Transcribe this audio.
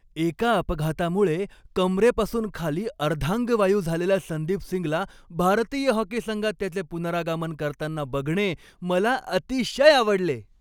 एका अपघातामुळे कंबरेपासून खाली अर्धांगवायू झालेल्या संदीप सिंगला भारतीय हॉकी संघात त्याचे पुनरागमन करताना बघणे मला अतिशय आवडले.